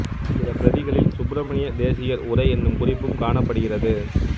சில பிரதிகளில் சுப்பிரமணிய தேசிகர் உரை என்னும் குறிப்பும் காணப்படுகிறது